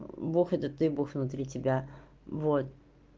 бог это ты бог внутри тебя вот